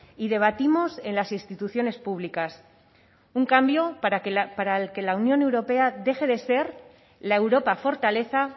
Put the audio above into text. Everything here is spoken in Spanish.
y debatimos en las instituciones públicas un cambio para el que la unión europea deje de ser la europa fortaleza